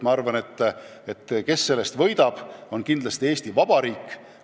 Ma arvan, võidab sellest kindlasti Eesti Vabariik.